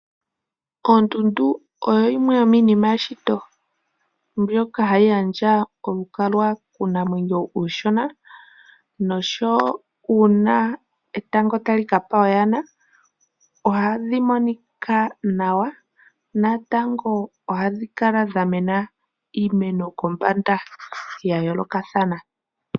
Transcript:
Ondundu oyo yimwe yomiinima yomeshito mbyoka hayi gandja olukalwa kuunamwenyo uushona noshowo uuna etango tali ka pa oyana ohadhi monika nawa. Ohadhi kala wo dha mena iimeno kombanda ya yoolokathana.